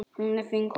Hún er fín kona.